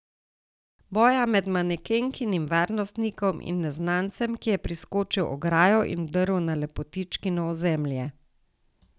Boja med manekenkinim varnostnikom in neznancem, ki je preskočil ograjo in vdrl na lepotičkino ozemlje.